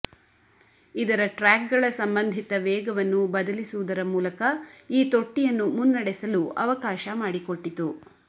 ಇದರ ಟ್ರ್ಯಾಕ್ಗಳ ಸಂಬಂಧಿತ ವೇಗವನ್ನು ಬದಲಿಸುವುದರ ಮೂಲಕ ಈ ತೊಟ್ಟಿಯನ್ನು ಮುನ್ನಡೆಸಲು ಅವಕಾಶ ಮಾಡಿಕೊಟ್ಟಿತು